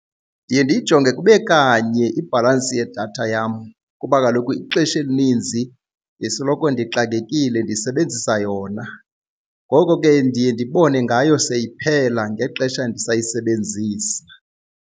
Ndiye ndiyijonge kube kanye ibhalansi yedatha yam kuba kaloku ixesha elininzi ndisoloko ndixakekile ndisebenzisa yona, ngoko ke ndiye ndibone ngayo seyiphela ngexesha ndisayisebenzisa.